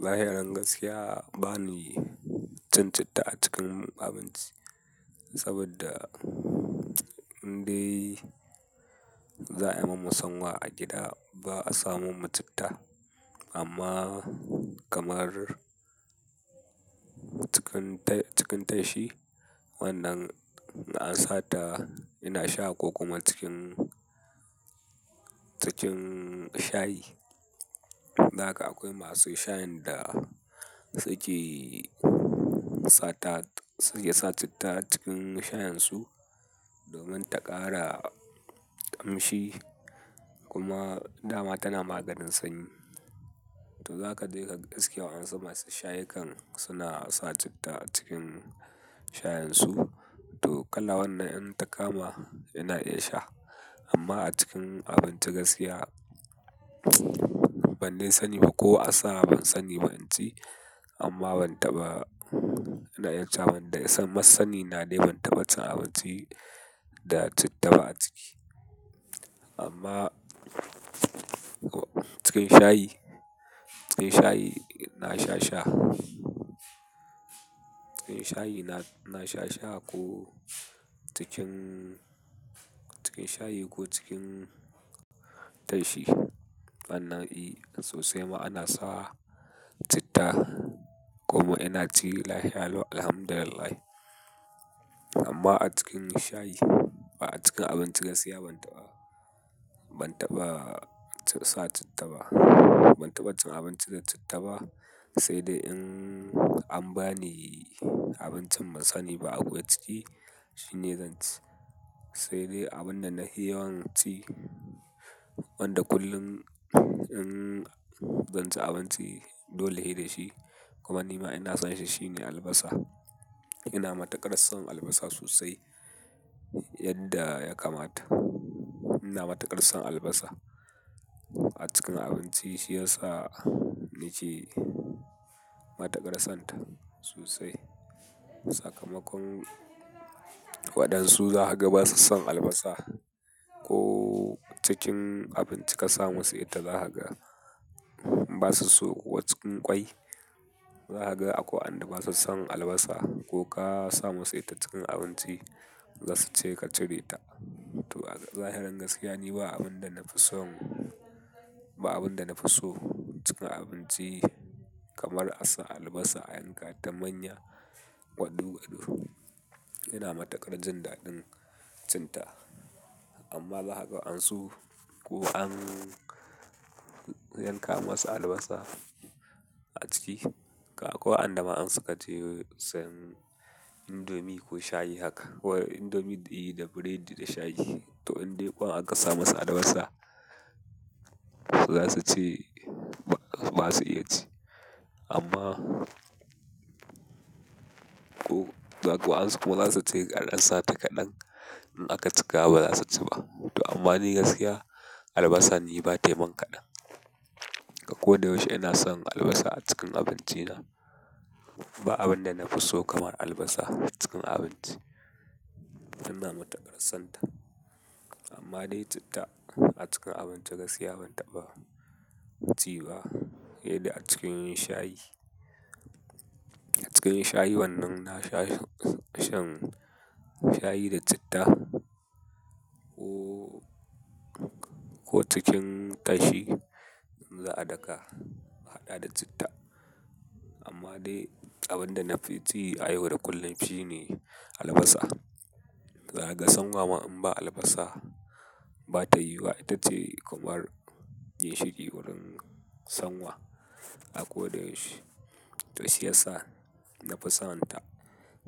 Zahiran gaskiya bani cin citta a cikin abinci saboda indai za a yi mun masana'a a gida ba a samo mu citta amma kamar cikin ta- cikin tashi wannan na ansa ta ina sha ko kuma cikin, cikin shayi. Dan haka akwai masu shayin da suke sata, ya sa citta cikin shayin su domin ta ƙara ƙamshi kuma dama tana maganin sanyi. To zaka je kaga gaskiya wa ansa masu shayi kan suna sa citta cikin shayin su to kala wannan in ta kama ina iya sha amma a cikin abinci gaskiya ban dai sani ba ko a sa ban sani ba abinci amma ban taɓa ina iya cewa ban dai san masani na dai ban taɓa cin abinci da citta ba a ciki. Amma cikin shayi, cikin shayi ina sha sha. Cikin shayi na, na sha sha ko cikin, cikin shayi ko cikin tashi sannan i sosai ma ana sa citta kuma ina ci lahianu alhamdulillah. Amma a cikin shayi ba a cikin abinci gaskiya ban taɓa, ban taɓa sa citta ba. Ban taɓa cin abinci da citta ba saidai in an bani abincin bansani ba a buye ciki shine zan ci. Saidai abun da na yi yawan ci wanda kullum in zan ci abinci dole shi da shi kuma ni ma ina son shi shine albasa. Ina matakar son albasa sosai yadda ya kamata. Ina matakar son albasa. A cikin abinci shi yasa nake matakar sonta sosai. Sakamakon waɗansu za ka ga basu son albasa ko cikin abinci ka sa musu ita za ka ga basu so ko cikin ƙwai za ka ga akwai wanda basu son albasa ko ka sa musu ita cikin abinci za su ce ka cire ta. To zahiri gaskiya ni ba abin da na fi son, ba abin da na fi so cikin abinci kamar a sa albasa a yanka ta manya gwaɗu gwaɗu. Ina matakar jin daɗin cinta amma za ka ga ansu ko an yanka musu albasa a ciki ko an dama an saka ce sai indomi ko shayi haka ko indomi diyi da burodi da shayi to indai ko an ka sa masa albasa za su ce ba su iya ci amma ko za ka ansu ko za su ce an sata kaɗan in aka cika ba za su ci ba. To amma ni gaskiya albasa ni ba taimon kaɗan. Akoda yaushe ina son albasa a cikin abinci na. Ba abin da na fi so kamar albasa cikin abinci. Ina matakar sonta amma dai citta a cikin abinci gaskiya ban taɓa ci ba. Sai dai a cikin shayi. A cikin shayi wannan na sha shan shayi da citta ko, ko cikin tashi in za a daka haɗa da citta. Amma dai abin da na fi ci a yau da kullum shine albasa. Za kaga san wama in ba albasa ba ta yiwuwa ita ce kamar ginshiki wurin sanwa akoda yaushe. To shi yasa na fi sonta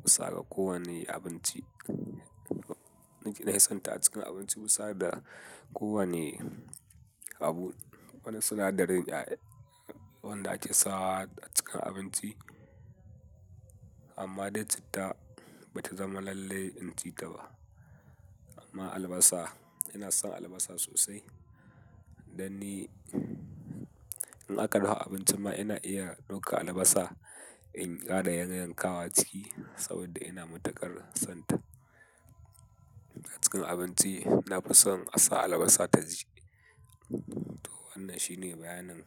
bisa ga kowane abinci. Nice na yi sonta a cikin abinci wusa da kowane abu. Wani sinadarin wanda ake sa a cikin abinci amma dai citta bata zama lallai in ci ta ba. Amma albasa ina son albasa sosai. Da ni in aka daha abinci ma ina iya ɗauka albasa in ƙara yanka yanka wa ciki saboda ina matakar sonta. A cikin abinci na fi son a sa albasa taji. To wannan shine bayanan.